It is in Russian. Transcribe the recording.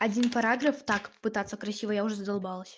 один параграф так пытаться красиво я уже задолбалась